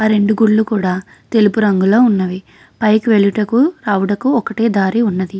ఆ రెండు గుడులు కూడా తెలుపు రంగులో ఉన్నవి పైకి వెళ్ళుటకు రవుటకు ఒక్కటే దారి ఉన్నది.